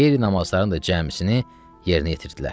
Və qeyri-namazların da cəmisini yerinə yetirdilər.